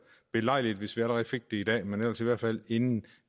belejligt hvis vi allerede fik det i dag men ellers i hvert fald inden